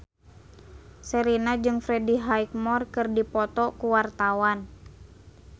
Sherina jeung Freddie Highmore keur dipoto ku wartawan